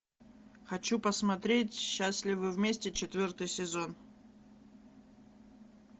хочу посмотреть счастливы вместе четвертый сезон